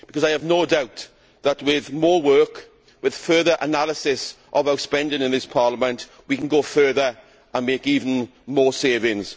I have no doubt that with more work, with further analysis of our spending in this Parliament, we can go further and make even more savings.